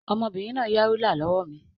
Ọmọbìnrin náà yá rúlà lọ́wọ́ mi.